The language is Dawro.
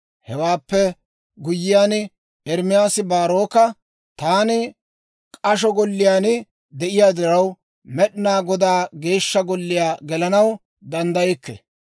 Hewaappe guyyiyaan, Ermaasi Baaroka, «Taani k'asho golliyaan de'iyaa diraw, Med'inaa Godaa Geeshsha Golliyaa gelanaw danddaykke.